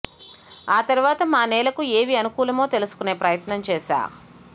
ఆ తరవాత మా నేలకు ఏవి అనుకూలమో తెలుసుకునే ప్రయత్నం చేశా